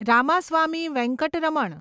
Ramaswamy Venkataraman